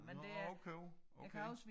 Nå okay okay